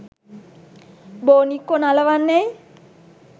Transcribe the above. බෝනික්කො නලවන්නැයි?